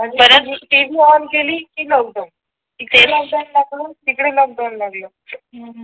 TV व केली कि लोकडवून इकडे लोकडाऊन लागलं तिकडे लोकडवून लागलं